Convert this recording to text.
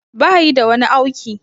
Bayi da wani auki